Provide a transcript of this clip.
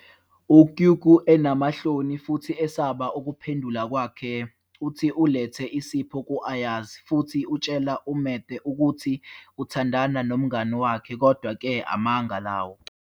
U-kykü, enamahloni futhi esaba ukuphendula kwakhe, uthi ulethe isipho ku-Ayaz futhi utshela uMete ukuthi uthandana nomngani wakhe, kodwa-ke amanga lawo.